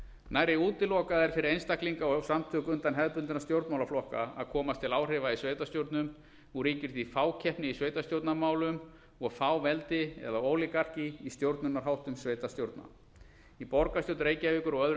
nærri útilokað er fyrir einstaklinga og samtök utan hefðbundinna stjórnmálasamtaka að komast til áhrifa í sveitarstjórnum og ríkir því fákeppni í sveitarstjórnarmálum og fáveldi í stjórnunarháttum sveitarstjórna í borgarstjórn reykjavíkur og öðrum